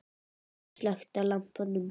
Ég slökkti á lampanum.